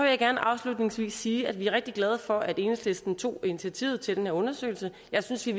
jeg gerne afslutningsvis sige at vi er rigtig glade for at enhedslisten tog initiativet til den her undersøgelse jeg synes i